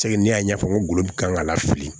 ne y'a ɲɛfɔ n ko kan ka lafili